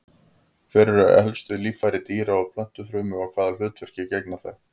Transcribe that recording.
Hver eru helstu líffæri dýra- og plöntufrumu og hvaða hlutverki gegna þau?